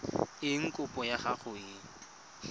eng kopo ya gago e